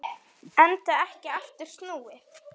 Enda ekki aftur snúið.